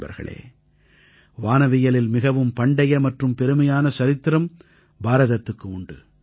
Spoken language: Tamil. நண்பர்களே வானவியலில் மிகவும் பண்டைய மற்றும் பெருமையான சரித்திரம் பாரதத்துக்கு உண்டு